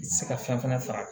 I tɛ se ka fɛn fɛnɛ faga